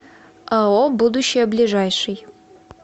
ао будущее ближайший